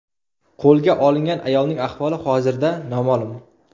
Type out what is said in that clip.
Qo‘lga olingan ayolning ahvoli hozirda noma’lum.